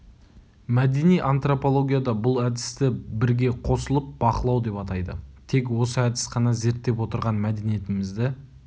мәдени антропологияда бұл әдісті бірге қосылып бақылау деп атайды тек осы әдіс қана зерттеп отырған мәдениетімізді